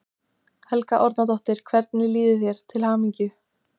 Helga Arnardóttir: Hvernig líður þér, til hamingju?